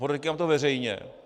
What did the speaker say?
Podotýkám, že veřejně.